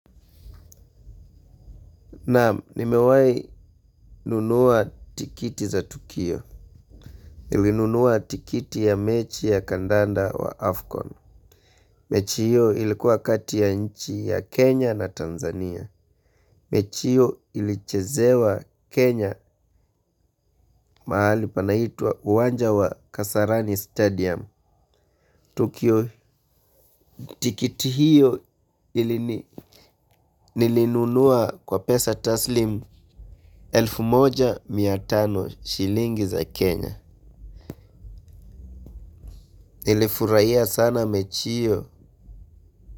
Nam, nimewayi nunua tikiti za tukio. Nilinunua tikiti ya mechi ya kandanda wa Afkon. Mechi hiyo ilikuwa kati ya nchi ya kenya na tanzania. Mechi hiyo ilichezewa Kenya mahali panaitwa uwanja wa Kasarani Stadium. Tukio tikiti hiyo nilinunua kwa pesa taslim elfu moja na mia tano shilingi za Kenya. Ele furaia sana mechiyo.